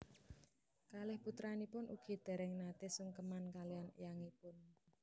Kalih putranipun ugi déréng naté sungkeman kaliyan éyangipun